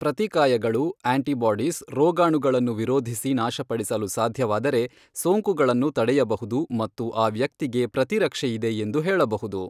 ಪ್ರತಿಕಾಯಗಳು antibodies ರೋಗಾಣುಗಳನ್ನು ವಿರೋಧಿಸಿ ನಾಶಡಿಸಲು ಸಾಧ್ಯವಾದರೆ ಸೋಂಕುಗಳನ್ನು ತಡೆಯಬಹುದು ಮತ್ತು ಆ ವ್ಯಕ್ತಿಗೆ ಪ್ರತಿರಕ್ಷೆ ಇದೆ ಎಂದು ಹೇಳಬಹುದು.